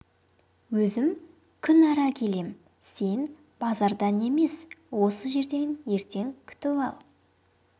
өзім күн ара келем сен базардан емес осы жерден ертең күтіп ал